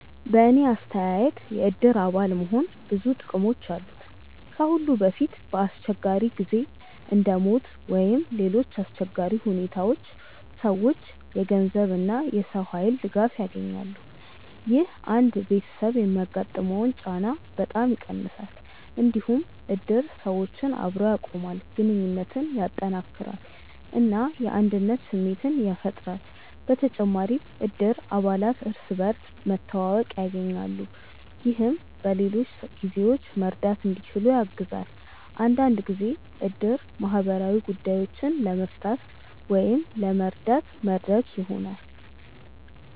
በእኔ አስተያየት የእድር አባል መሆን ብዙ ጥቅሞች አሉት። ከሁሉ በፊት በአስቸጋሪ ጊዜ እንደ ሞት ወይም ሌሎች አሰቸጋሪ ሁኔታዎች ሰዎች የገንዘብ እና የሰው ኃይል ድጋፍ ያገኛሉ። ይህ አንድ ቤተሰብ የሚያጋጥመውን ጫና በጣም ይቀንሳል። እንዲሁም እድር ሰዎችን አብሮ ያቆማል፣ ግንኙነትን ያጠናክራል እና የአንድነት ስሜት ያፈጥራል። በተጨማሪም እድር አባላት እርስ በርስ መተዋወቅ ያገኛሉ፣ ይህም በሌሎች ጊዜዎችም መርዳት እንዲችሉ ያግዛል። አንዳንድ ጊዜ እድር ማህበራዊ ጉዳዮችን ለመፍታት ወይም ለመረዳት መድረክ ይሆናል።